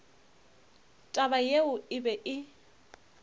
taba yeo e be e